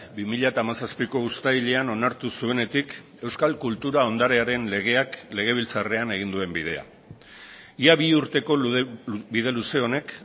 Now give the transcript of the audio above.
bi mila hamazazpiko uztailean onartu zuenetik euskal kultura ondarearen legeak legebiltzarrean egin duen bidea ia bi urteko bide luze honek